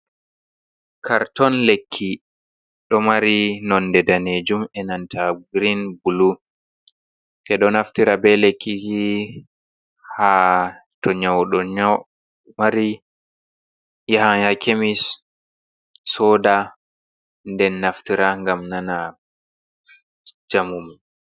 Karton lekki, ɗo mari nonnde daneejum e nanta girin-bulu, ɓe do naftira bee lekki haa to nyawɗo nyaw mari yaha haa kemis sooda nden naftira ngam nana njamu mum.